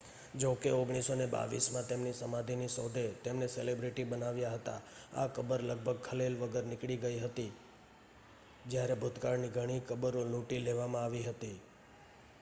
જો કે 1922 માં તેમની સમાધિની શોધે તેમને સેલિબ્રિટી બનાવ્યા હતા આ કબર લગભગ ખલેલ વગર નીકળી ગઈ હતી જ્યારે ભૂતકાળની ઘણી કબરો લૂંટી લેવામાં આવી હતી